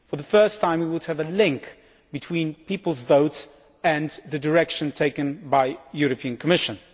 For the first time we would have a link between peoples' votes and the direction taken by the European Commission.